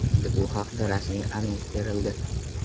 Endi bu haqda rasmiy anons berildi.